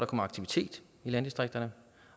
kommer aktivitet i landdistrikterne